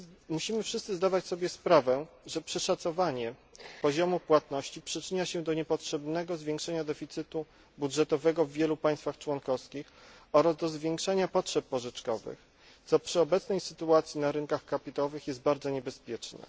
Musimy wszyscy zdawać sobie sprawę, że przeszacowanie poziomu płatności przyczynia się do niepotrzebnego zwiększenia deficytu budżetowego w wielu państwach członkowskich oraz do zwiększenia potrzeb pożyczkowych, co przy obecnej sytuacji na rynkach kapitałowych jest bardzo niebezpieczne.